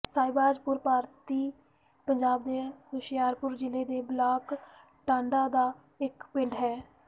ਸਹਿਬਾਜਪੁਰ ਭਾਰਤੀ ਪੰਜਾਬ ਦੇ ਹੁਸ਼ਿਆਰਪੁਰ ਜ਼ਿਲ੍ਹੇ ਦੇ ਬਲਾਕ ਟਾਂਡਾ ਦਾ ਇੱਕ ਪਿੰਡ ਹੈ